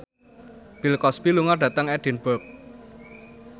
Bill Cosby lunga dhateng Edinburgh